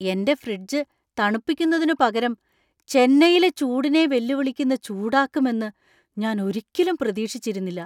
എന്‍റെ ഫ്രിഡ്ജ് തണുപ്പിക്കുന്നതിനുപകരം ചെന്നൈയിലെ ചൂടിനെ വെല്ലുവിളിക്കുന്ന ചൂടാക്കുമെന്നു ഞാൻ ഒരിക്കലും പ്രതീക്ഷിച്ചിരുന്നില്ല!